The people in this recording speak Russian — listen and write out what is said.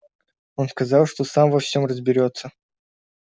он сказал что сам во всём разберётся